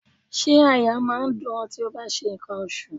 Ṣé àyà máa ń dùn-ún tí ó bá ń ṣe ǹkan oṣù?